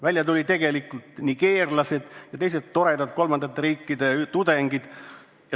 Välja tulid tegelikult nigeerlased ja teised toredad kolmandate riikide tudengid.